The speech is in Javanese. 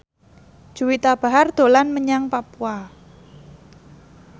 Juwita Bahar dolan menyang Papua